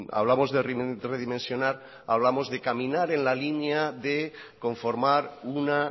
hablamos de redimensionar hablamos de caminar en la línea de conformar una